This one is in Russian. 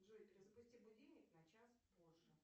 джой перезапусти будильник на час позже